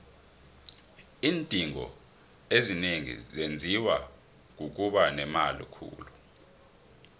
iindingo ezinengi zenziwa kukuba nemali khulu